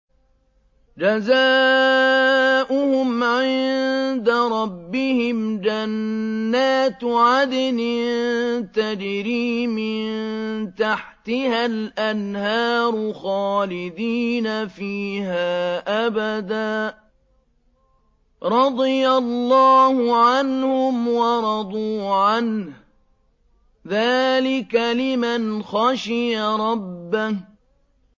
جَزَاؤُهُمْ عِندَ رَبِّهِمْ جَنَّاتُ عَدْنٍ تَجْرِي مِن تَحْتِهَا الْأَنْهَارُ خَالِدِينَ فِيهَا أَبَدًا ۖ رَّضِيَ اللَّهُ عَنْهُمْ وَرَضُوا عَنْهُ ۚ ذَٰلِكَ لِمَنْ خَشِيَ رَبَّهُ